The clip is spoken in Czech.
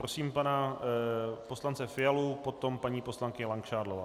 Prosím pana poslance Fialu, potom paní poslankyně Langšádlová.